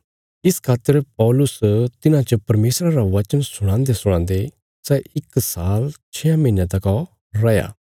इस खातर पौलुस तिन्हां च परमेशरा रा वचन सुणांदेसुणांदे सै इक साल छेआं महीनयां तका रैया